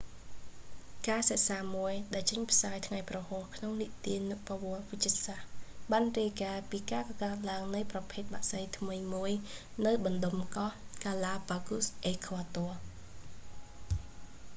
ការសិក្សាមួយ ដែលចេញផ្សាយ​ថ្ងៃ​ព្រហស្បតិ៍ក្នុង​ទិនានុប្បវត្តិ​វិទ្យាសាស្ត្រ បាន​រាយការណ៍​ពី​ការកកើត​ឡើង​នៃ​ប្រភេទ​បក្សី​ថ្មី​មួយ​នៅ​បណ្ដុំ​កោះ​ហ្គាឡាប៉ាហ្កូស galápagos អេក្វាទ័រ។